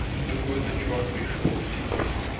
и такой-то чувак пришёл типа